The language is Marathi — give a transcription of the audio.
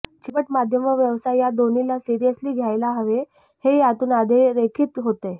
चित्रपट माध्यम व व्यवसाय या दोन्हीला सिरियसली घ्यायला हवे हे यातून अधोरेखित होतेय